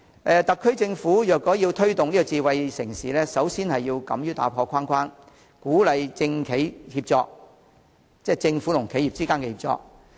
特區政府若要推動智慧城市，首先要敢於打破框框，鼓勵政府和企業之間的協作。